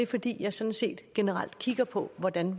fordi jeg sådan set generelt kigger på hvordan